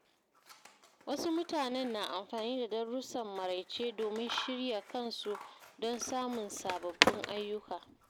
Wasu mutanen na amfani da darussan maraice domin shirya kansu don samun sababbin ayyuka.